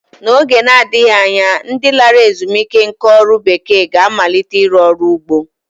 N'oge na-adịghị anya, ndi lara ezumike nká ọrụ bekee ga-amalite ịrụ ọrụ ugbo